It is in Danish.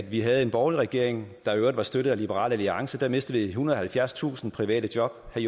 vi havde en borgerlig regering der i øvrigt var støttet af liberal alliance mistede vi ethundrede og halvfjerdstusind private job og